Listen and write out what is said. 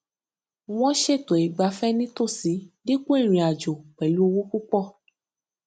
wọn ṣètò ìgbáfẹ nítòsí dípò ìrìnàjò pẹlú owó púpọ